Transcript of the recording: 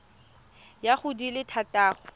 ya go di le thataro